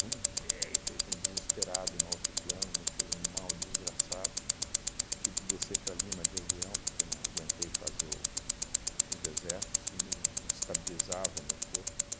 feito um desesperado no altiplano, me fez um mal desgraçado, tive que descer para Lima de avião porque não aguentei fazer os os desertos, não não estabilizava meu corpo.